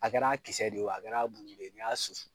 A kɛra kisɛ de ye o a kɛra bulu de ye ni y'a susu